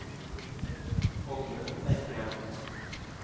Oddmund Eikeland